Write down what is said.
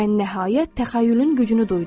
Mən nəhayət təxəyyülün gücünü duydum.